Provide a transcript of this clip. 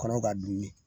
Kɔnɔ ka dumini